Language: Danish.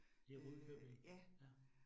I Rudkøbing. Ja